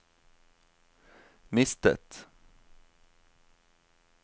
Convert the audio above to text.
mistet